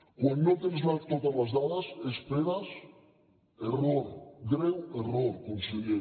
quan no tens totes les dades esperes error greu error conseller